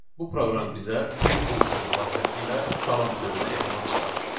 Bu proqram bizə print funksiyası vasitəsilə salam sözünü ekrana çıxardır.